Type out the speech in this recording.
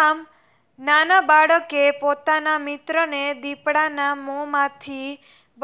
આમ નાના બાળકે પોતાના મિત્રને દીપડાના મોમાથી